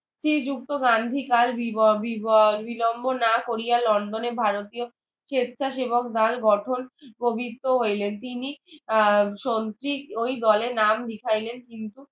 শ্রীযুক্ত গান্ধী তার বিলম্ব না করিয়া লন্ডনে ভারতীয় সেচ্ছাসেবক নামে গঠন প্রবৃত্ত হইলেন তিনি আহ সন্ত্রিক ওই দলে নাম লিখাইলেন কিন্তু